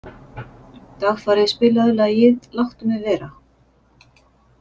Dagfari, spilaðu lagið „Láttu mig vera“.